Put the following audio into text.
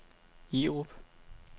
Jerup